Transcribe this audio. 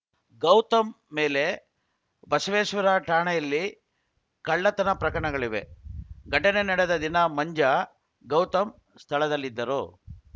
ಗೌತಮ್‌ ಮೇಲೆ ಬಸವೇಶ್ವರ ಠಾಣೆಯಲ್ಲಿ ಕಳ್ಳತನ ಪ್ರಕರಣಗಳಿವೆ ಘಟನೆ ನಡೆದ ದಿನ ಮಂಜ ಗೌತಮ್‌ ಸ್ಥಳದಲ್ಲಿದ್ದರು